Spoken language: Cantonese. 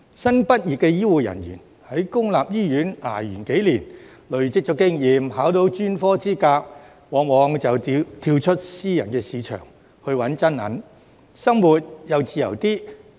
新畢業的醫護人員，在公立醫院捱了幾年，累積了經驗，考取了專科資格後，往往會跳到私人市場"搵真銀"，生活也自由些。